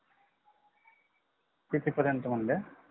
किती पर्यन्त म्हणल्या